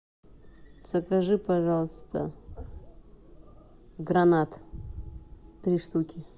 закажи пожалуйста гранат три штуки